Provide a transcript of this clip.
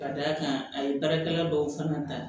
Ka d'a kan a ye baarakɛla dɔw fana ta